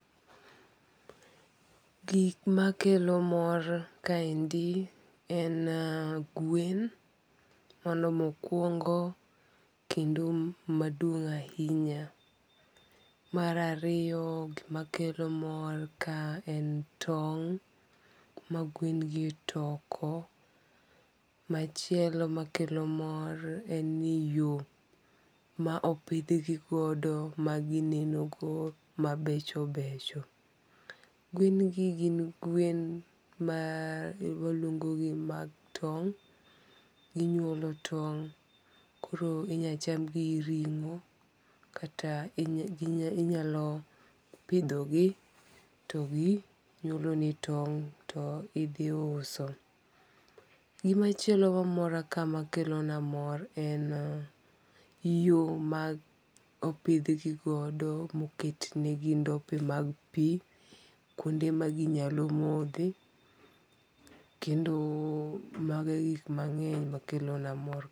Gik makelo mor kaendi en gwen, mano mokuongo' kendo madung' ahinya, marariyo makelo mor ka en tong' magwen gi toko, machielo makelo mor en ni yo ma opithgigodo maginenogo mabecho becho, gwengi gin gwen ma waluongogogi ni mag tong, ginyuolo tong koro inyalo chamgi ringo' kata inyalo pithogi to ginyuoloni tong to ithi uso, gimachielo mamora kae makelona mor en yo mag opithgigodo maketnegi ndope mag pi kwonde ma ginyalo mothe , kendo mag gig mange'ny makelona mor.